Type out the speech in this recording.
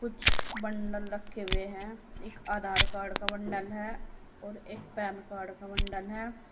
कुछ बंडल रखे हुए हैं। एक आधार कार्ड का बंडल है और एक पैन कार्ड का बंडल है।